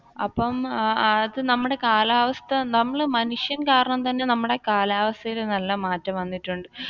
അപ്പൊ അത് നമ്മുടെ കാലാവസ്ഥ നമ്മൾ മനുഷ്യൻ കാരണം തന്നെ നമ്മുടെ കാലാവസ്ഥയിൽ നല്ല മാറ്റം വന്നിട്ടുണ്ട്.